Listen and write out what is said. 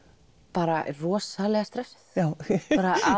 bara rosalega stressuð